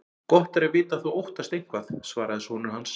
Gott er að vita að þú óttast eitthvað, svaraði sonur hans.